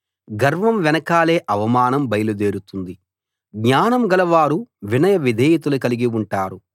గర్వం వెనకాలే అవమానం బయలు దేరుతుంది జ్ఞానం గలవారు వినయ విధేయతలు కలిగి ఉంటారు